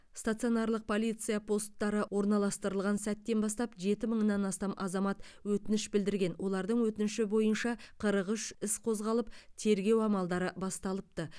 стационарлық полиция посттары орналастырылған сәттен бастап жеті мыңнан астам азамат өтініш білдірген олардың өтініші бойынша қырық үш іс қозғалып тергеу амалдары басталыпты